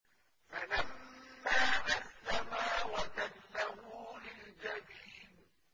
فَلَمَّا أَسْلَمَا وَتَلَّهُ لِلْجَبِينِ